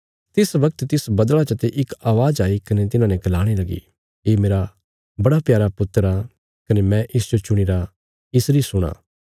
तिस बगत तिस बदला चते इक अवाज़ आई कने तिन्हाने गलाणे लगी ये मेरा बड़ा प्यारा पुत्र आ कने मैं इसजो चुणीरा इसरी सुणां